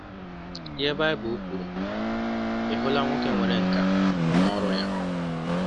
IHE BAỊBỤL KWURU: Ị hụla nwoke nwere nkà n’ọrụ ya?